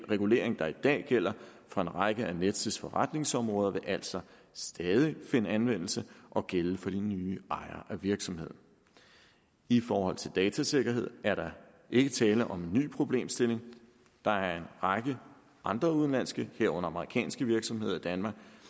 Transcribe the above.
regulering der i dag gælder for en række af nets forretningsområder vil altså stadig finde anvendelse og gælde for de nye ejere af virksomheden i forhold til datasikkerhed er der ikke tale om en ny problemstilling der er en række andre udenlandske herunder amerikanske virksomheder i danmark